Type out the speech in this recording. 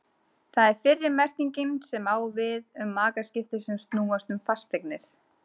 Það er fyrri merkingin sem á við um makaskipti sem snúast um fasteignir.